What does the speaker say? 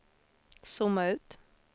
zooma ut